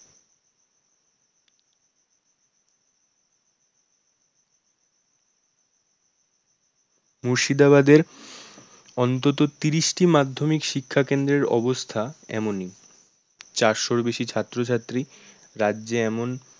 মুর্শিদাবাদের অন্তত তিরিশটি মাধ্যমিক শিক্ষা কেন্দ্রের অবস্থা এমনই চারশোরও বেশি ছাত্রছাত্রী রাজ্যে এমন